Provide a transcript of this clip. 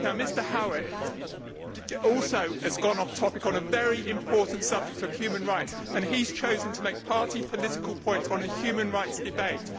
Now Mr Howitt has also gone off topic on the very important subject of human rights, and chosen to make party political points in a human rights debate.